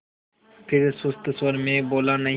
फिर सुस्त स्वर में बोला नहीं